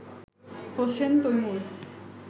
Hossain Taimur